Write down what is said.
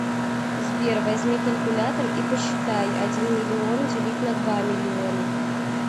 сбер возьми калькулятор и посчитай один миллион делить на два миллиона